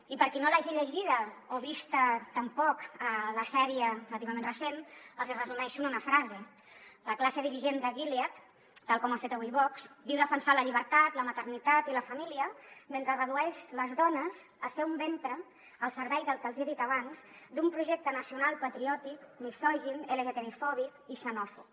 i per qui no l’hagi llegida o vist tampoc la sèrie relativament recent els hi resumeixo en una frase la classe dirigent de gilead tal com ha fet avui vox diu defensar la llibertat la maternitat i la família mentre redueix les dones a ser un ventre al servei del que els hi he dit abans d’un projecte nacional patriòtic misogin lgtbi fòbic i xenòfob